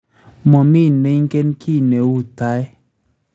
Momiy neinken ki ne u tai